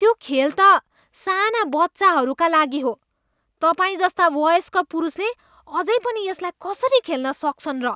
त्यो खेल त साना बच्चाहरूका लागि हो। तपाईँजस्ता वयस्क पुरुषले अझै पनि यसलाई कसरी खेल्न सक्छन् र?